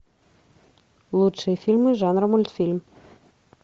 лучшие фильмы жанра мультфильм